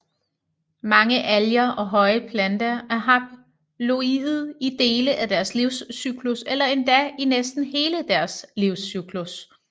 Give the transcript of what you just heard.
Mange alger og højere planter er haploide i dele af deres livscyklus eller endda i næsten hele deres livscyklus